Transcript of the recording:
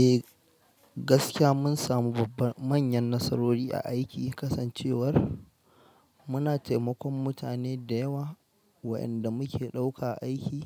Eh gaskiya mun samu babbar manyan nasarori a aiki kasancewar muna taimakon mutane da yawa wa'inda muke ɗauka aiki